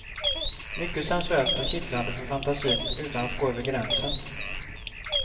Mycket sensuellt och kittlande för fantasin utan att gå över gränsen.